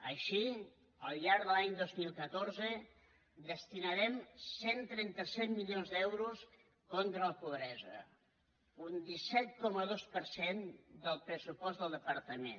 així al llarg de l’any dos mil catorze destinarem cent i trenta set milions d’euros contra la pobresa un disset coma dos per cent del pressupost del departament